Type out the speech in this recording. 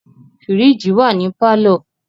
Fìríìjì wà ní pálọ̀.